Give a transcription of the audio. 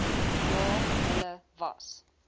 ja hulle was